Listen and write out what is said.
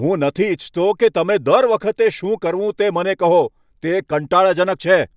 હું નથી ઇચ્છતો કે તમે દર વખતે શું કરવું તે મને કહો, તે કંટાળાજનક છે.